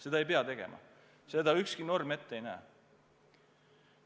Seda ei pea tegema, seda ükski norm ette ei näe.